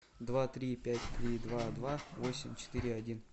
два три пять три два два восемь четыре один